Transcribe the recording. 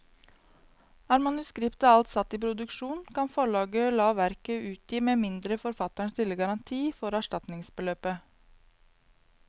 Er manuskriptet alt satt i produksjon, kan forlaget la verket utgi med mindre forfatteren stiller garanti for erstatningsbeløpet.